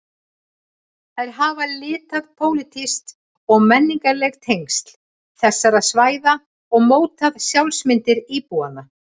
Þær hafa litað pólitísk og menningarleg tengsl þessara svæða og mótað sjálfsmyndir íbúanna.